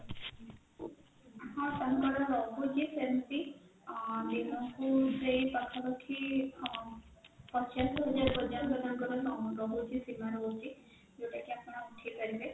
ହଁ ତାଙ୍କର ରହୁଛି ସେମିତି ଆଁ ଦିନକୁ ସେଇ ପାଖାପାଖି ଆଁ ପଚାଶ ହଜାର ପର୍ଯ୍ୟନ୍ତ ତାଙ୍କର ସୀମା ରହୁଛି ଯୋଉଟାକି ଆପଣ ଉଠେଇପାରିବେ